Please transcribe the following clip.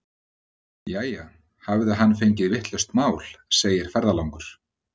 Jæja, hafði hann fengið vitlaust mál, segir ferðalangur.